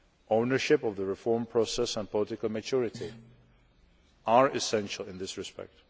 Ownership of the reform process and political maturity are essential in this respect.